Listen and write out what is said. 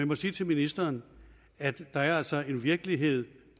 må sige til ministeren at der altså er en virkelighed